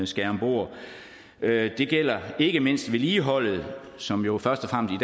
skal om bord det gælder ikke mindst vedligeholdet som jo først